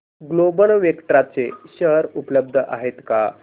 global Vectra चे share उपलब्ध आहेत का